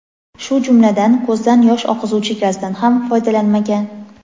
shu jumladan ko‘zdan yosh oqizuvchi gazdan ham foydalanmagan.